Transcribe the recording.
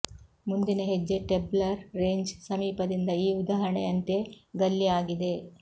ಮುಂದಿನ ಹೆಜ್ಜೆ tabular range ಸಮೀಪದಿಂದ ಈ ಉದಾಹರಣೆಯಂತೆ ಗಲ್ಲಿ ಆಗಿದೆ